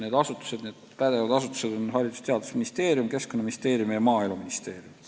Need pädevad asutused on Haridus- ja Teadusministeerium, Keskkonnaministeerium ja Maaeluministeerium.